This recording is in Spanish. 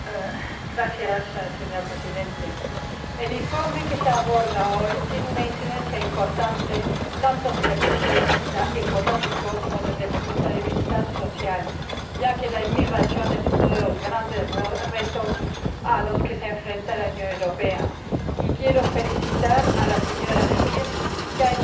Señor Presidente, el informe que se aborda hoy tiene una incidencia importante tanto desde el punto de vista económico como desde el punto de vista social, ya que la inmigración es uno de los grandes retos a los que se enfrenta la Unión Europea, y quiero felicitar a la señora Hirsch, que ha hecho un buen trabajo.